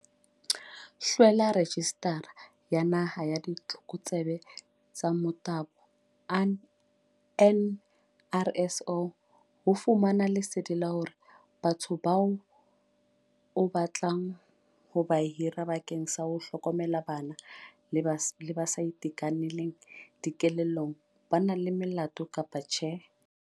HLWELA REJISTARA ya Naha ya Ditlokotsebe tsa Motabo, NRSO, ho fumana lesedi la hore batho bao o batlang ho ba hira bakeng sa ho hlokomela bana le ba sa itekanelang dikelellong ba na le melato kapa tjhe.